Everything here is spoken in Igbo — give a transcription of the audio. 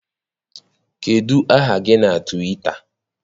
Kedụ aha gị na Twịta?